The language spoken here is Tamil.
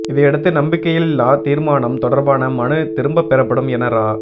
இதையடுத்து நம்பிக்கையில்லா தீர்மானம் தொடர்பான மனு திரும்பப் பெறப்படும் என இரா